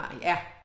Ja